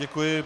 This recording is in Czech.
Děkuji.